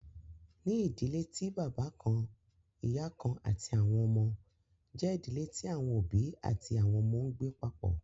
Ní idílẹ̀ tí baba kàn-ìyà kàn-àti àwọn ọmọ, jẹ idílẹ̀ tí àwọn obì àti àwọn ọmọ ǹgbẹ papọ.